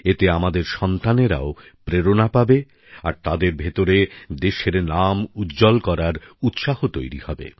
এতে আমাদের সন্তানরাও প্রেরণা পাবে আর তাদের ভেতরে দেশের নাম উজ্জ্বল করার উৎসাহ তৈরি হবে